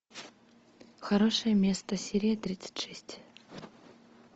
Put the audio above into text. хорошее место серия тридцать шесть